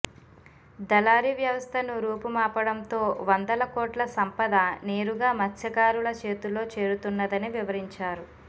దళారీ వ్యవస్థను రూపుమాపడంతో వందల కోట్ల సంపద నేరుగా మత్స్యకారుల చేతుల్లో చేరుతున్నదని వివరించారు